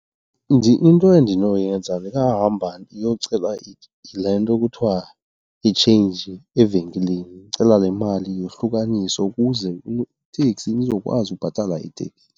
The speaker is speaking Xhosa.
Into endinoyenza ndingahamba ndiyocela le nto kuthiwa yi-change evenkileni, ndicela le mali yohlukaniswe ukuze iteksi, ndizokwazi ubhatala iteksi.